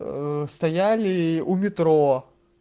стояли у метро